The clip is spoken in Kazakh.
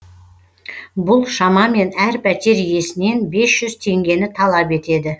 бұл шамамен әр пәтер иесінен бес жүз теңгені талап етеді